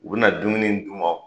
U bɛna dumuni d'u man.